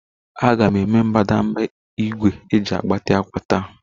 A ga-eme mbadamba igwe eji agbati akwa taa